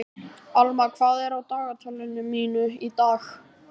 Alma, hvað er á dagatalinu mínu í dag?